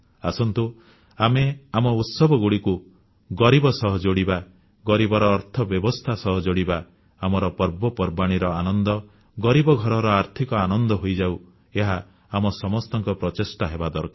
ଆସନ୍ତୁ ଆମେ ଆମ ଉତ୍ସବଗୁଡ଼ିକୁ ଗରିବ ସହ ଯୋଡ଼ିବା ଗରିବର ଅର୍ଥବ୍ୟବସ୍ଥା ସହ ଯୋଡ଼ିବା ଆମର ପର୍ବପର୍ବାଣୀର ଆନନ୍ଦ ଗରିବ ଘରର ଆର୍ଥିକ ଆନନ୍ଦ ହୋଇଯାଉ ଏହା ଆମ ସମସ୍ତଙ୍କ ପ୍ରଚେଷ୍ଟା ହେବା ଦରକାର